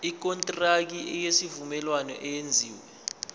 ikontraki yesivumelwano eyenziwe